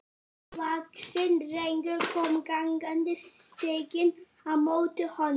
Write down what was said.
Hávaxinn drengur kom gangandi stíginn á móti honum.